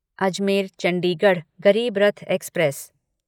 Ajmer Chandigarh Garib Rath express